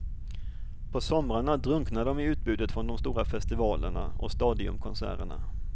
På somrarna drunknar de i utbudet från de stora festivalerna och stadiumkonserterna.